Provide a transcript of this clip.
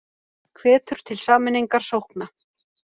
Hvetur til sameiningar sókna